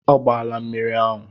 Ọ gbaala mmiri ahụ.